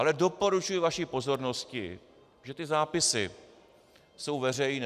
Ale doporučuji vaší pozornosti, že ty zápisy jsou veřejné.